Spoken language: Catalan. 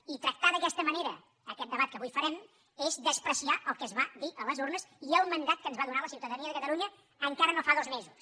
i tractar d’aquesta manera aquest debat que avui farem és menysprear el que es va dir a les urnes i el mandat que ens va donar la ciutadania de catalunya encara no fa dos mesos